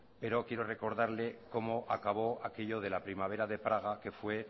pero quiero recordarle como acabó aquello de la primavera de praga que fue